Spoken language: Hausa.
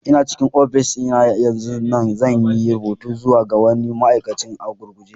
Ina cikin ofishi na yanzun nan, zan yi rubutu zuwa ga wani ma'aikaci a gurguje.